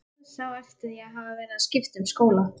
Dauðsá eftir að hafa verið að skipta um skóla.